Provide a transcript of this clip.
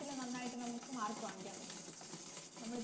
ത്തില് നന്നായിട്ട് നമുക്ക് Mark വാങ്ങിക്കാൻ പറ്റും